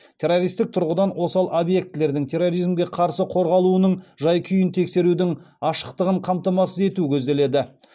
террористік тұрғыдан осал объектілердің терроризмге қарсы қорғалуының жай күйін тексерудің ашықтығын қамтамасыз ету көзделеді